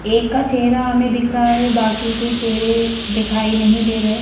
एक का चेहरा हमें दिख रहा है बाकी के चेहरे दिखाई नहीं दे रहे।